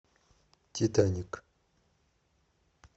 титаник